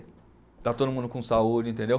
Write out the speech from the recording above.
Está todo mundo com saúde, entendeu?